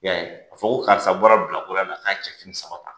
Ee a fɔ ko karisa bɔra bilakoroya la k'a cɛfini saba ta